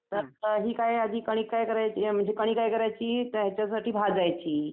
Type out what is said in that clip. त्यात ही म्हणजे कणी काय करायची? त्याच्यासाठी भाजायची